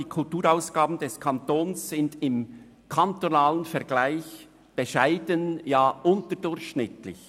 Die Kulturausgaben des Kantons sind im kantonalen Vergleich bescheiden, ja unterdurchschnittlich.